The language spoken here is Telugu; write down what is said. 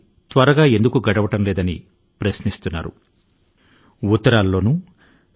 ఈ సంవత్సరం ఎందుకు ఇంత మందకొడిగా సాగుతోంది అనే ప్రశ్నతోనే మన ఫోను సంభాషణ లు ప్రారంభం అవుతున్నాయి